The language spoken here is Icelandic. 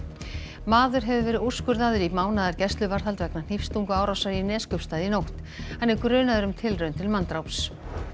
maður hefur verið úrskurðaður í mánaðar gæsluvarðhald vegna í Neskaupstað í nótt hann er grunaður um tilraun til manndráps